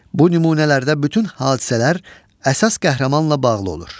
Bu nümunələrdə bütün hadisələr əsas qəhrəmanla bağlı olur.